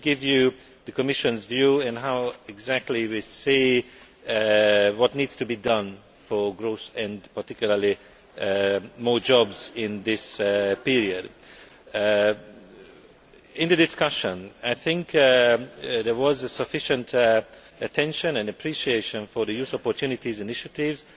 Let me give you the Commission's view on what exactly we think needs to be done for growth and particularly for more jobs in this period. In the discussion I think there was sufficient attention and appreciation for the Youth Opportunities initiatives,